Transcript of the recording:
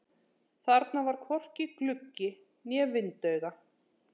Þarna var hvorki gluggi né vindauga.